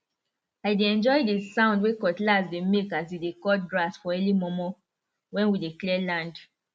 i dey enjoy the sound wey cutlass dey make as e dey cut grass for early momo when we dey clear land